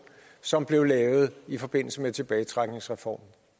som blev lavet i forbindelse med tilbagetrækningsreformen